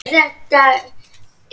Geysir gaus fyrir Svíana.